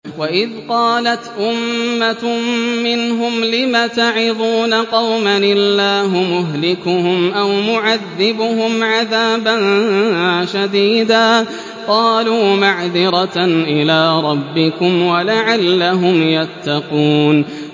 وَإِذْ قَالَتْ أُمَّةٌ مِّنْهُمْ لِمَ تَعِظُونَ قَوْمًا ۙ اللَّهُ مُهْلِكُهُمْ أَوْ مُعَذِّبُهُمْ عَذَابًا شَدِيدًا ۖ قَالُوا مَعْذِرَةً إِلَىٰ رَبِّكُمْ وَلَعَلَّهُمْ يَتَّقُونَ